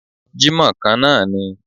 Jímọ̀ kan náà ni